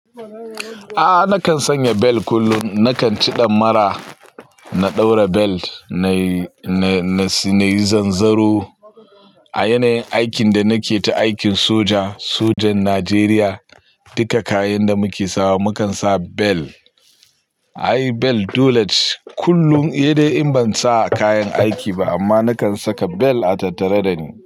A'a nakan sanya bel kullum. Nakan ci ɗamara na ɗaura bel na, na, na yi zanzaro. A yanayin aikin da nake ta aikin soja, sojan Najeriya, duka kayan da muke sawa mukan sa bel. Ai bel dole ce kullum sai dai in ban sa kayan aiki ba amma nakan saka bel a tattare da ni.